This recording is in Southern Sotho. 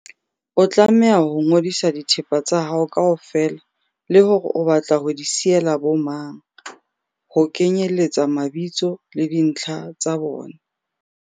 O tlameha ho ngodisa dithepa tsa hao kaofela le hore o batla ho di siyela bomang, ho kenyeletsa mabitso le dintlha tsa bona.